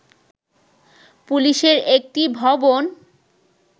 পুলিশের একটি ভবন